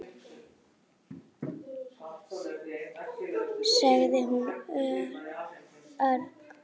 sagði hún örg.